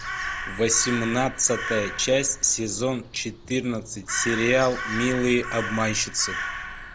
восемнадцатая часть сезон четырнадцать сериал милые обманщицы